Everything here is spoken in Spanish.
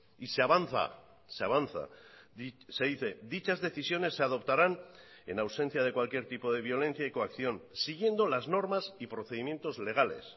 y se avanza se avanza se dice dichas decisiones se adoptarán en ausencia de cualquier tipo de violencia y coacción siguiendo las normas y procedimientos legales